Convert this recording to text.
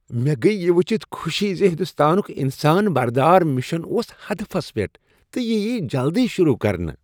مےٚ گٔیۍ یہ ؤچھتھ خوشی ز ہنٛدستانک انسان بردار مشن اوس ہدفس پیٹھ تہٕ یہِ یییہ جلدی شروع کرنہٕ۔